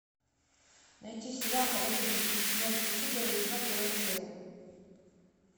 найти сериал ходячие мертвецы первый сезон первая серия